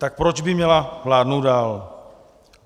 Tak proč by měla vládnout dál?